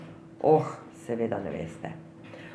Oh, seveda ne veste.